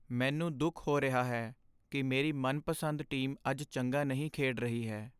ਮੈਨੂੰ ਦੁਖ ਹੋ ਰਿਹਾ ਹੈ ਕਿ ਮੇਰੀ ਮਨਪਸੰਦ ਟੀਮ ਅੱਜ ਚੰਗਾ ਨਹੀਂ ਖੇਡ ਰਹੀ ਹੈ।